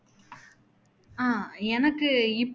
ஆஹ் எனக்கு இப்